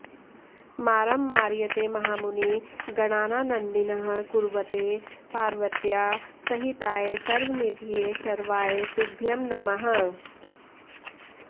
मारं मारयते महामुनिगणानानन्दिनः कुर्वते पार्वत्या सहिताय सर्वनिधये शर्वाय तुभ्यं नमः